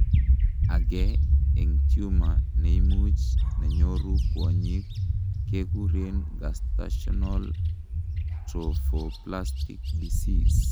agei en tumor neimuch nenyoru kwonyik kekuren gestational trophoblastic disease